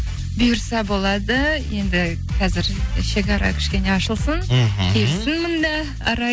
бұйырса болады енді қазір шекара кішкене ашылсын мхм келсін мында арай